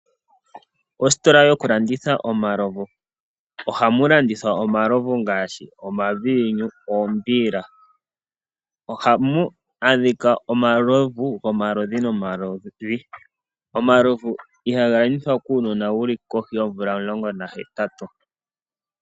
Ositola yokulanditha omalovu, ohamu landithwa omalovu ngaashi, omaviinyu, oombiila. Ohamu adhika omalovu gomaludhi nomaludhi, omalovu ihaga landithwa kuunona wuli kohi yoomvula omulongo nahetatu.